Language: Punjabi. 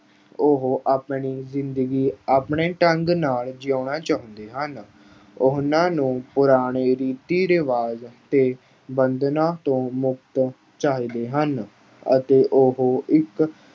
ਉਹ ਆਪਣੀ ਜ਼ਿੰਦਗੀ ਆਪਣੇ ਢੰਗ ਨਾਲ ਜਿਉਣਾ ਚਾਹੁੰਦੇ ਹਨ। ਉਹਨਾਂ ਨੂੰ ਪੁਰਾਣੇ ਰੀਤੀ-ਰਿਵਾਜ਼ ਤੇ ਬੰਧਨਾਂ ਤੋਂ ਮੁਕਤ ਚਾਹੀਦੇ ਹਨ ਅਤੇ ਉਹ ਇੱਕ